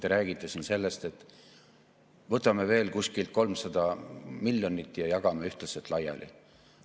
Te räägite siin sellest, et võtame veel kuskilt 300 miljonit ja jagame ühtlaselt laiali.